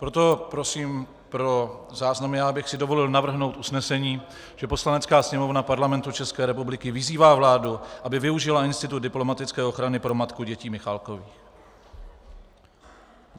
Proto prosím pro záznamy, já bych si dovolil navrhnout usnesení, že Poslanecká sněmovna Parlamentu České republiky vyzývá vládu, aby využila institut diplomatické ochrany pro matku dětí Michalákových.